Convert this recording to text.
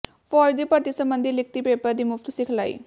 ਫ਼ੌਜ ਦੀ ਭਰਤੀ ਸਬੰਧੀ ਲਿਖਤੀ ਪੇਪਰ ਦੀ ਮੁਫ਼ਤ ਸਿਖਲਾਈ